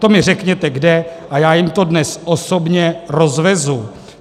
To mi řekněte kde a já jim to dnes osobně rozvezu.